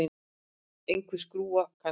Einhver skrúfa, kannski.